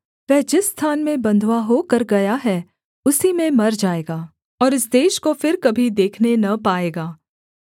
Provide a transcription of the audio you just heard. वह जिस स्थान में बँधुआ होकर गया है उसी में मर जाएगा और इस देश को फिर कभी देखने न पाएगा